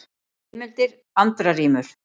Heimildir: Andra rímur.